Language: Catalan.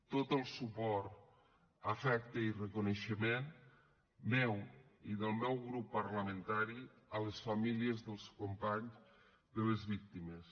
tot el suport afecte i reconeixement meu i del meu grup parlamentari a les famílies i als companys de les víctimes